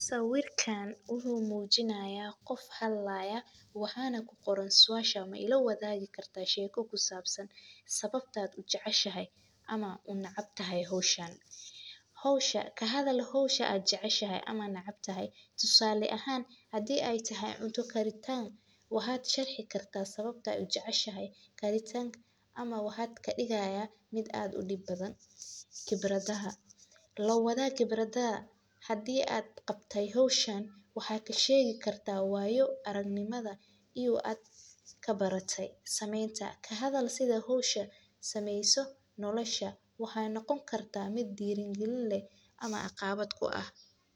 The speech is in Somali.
Sawiirkaan wuxuu mujinaaya qof hadlaaya waxaana kuqoran suasha maila wadaagi kartaa sheeko kusaabsan sababta aad ujeceshahay ama uneceb tahay howshan, kahadal howsha aad jeceshahay ama neceb tahay tusaalo ahaan hadii aay tahay cunto karitaan waxaad sharxi kartaa sababta aad ujeceshahay karitaanka amaba adhigo kadigaaya mid aad udib badan, lawadaag qibrada hadii aad qabate howshan waxaa kasheegi kartaa waayo aragnimada iyo aad kabarate sameenta, kahadal sida howsha sameeyso nolosha waxaay noqon kartaa mid diiri galin leh ama caqabad ku ah.